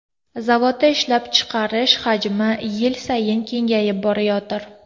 Zavodda ishlab chiqarish hajmi yil sayin kengayib borayotir.